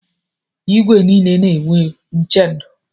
Igwe niile na-enwe chenụ.